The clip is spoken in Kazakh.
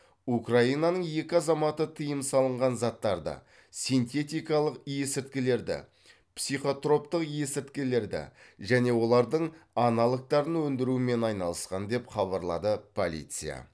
украинаның екі азаматы тыйым салынған заттарды синтетикалық есірткілерді психотроптық есірткілерді және олардың аналогтарын өндірумен айналысқан деп хабарлады полиция